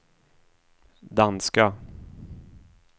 danska